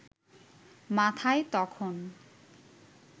মাথায় তখন